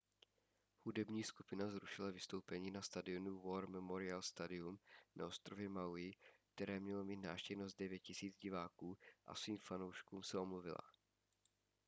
hudební skupina zrušila vystoupení na stadionu war memorial stadium na ostrově maui které mělo mít návštěvnost 9 000 diváků a svým fanouškům se omluvila